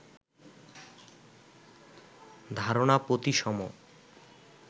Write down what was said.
ধারণা প্রতিসম